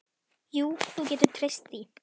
Jú, þú getur treyst því.